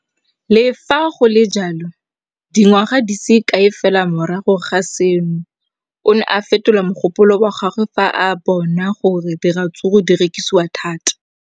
Le fa go le jalo, dingwaga di se kae fela morago ga seno, o ne a fetola mogopolo wa gagwe fa a bona gore diratsuru di rekisiwa thata.